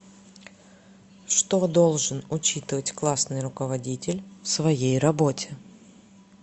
что должен учитывать классный руководитель в своей работе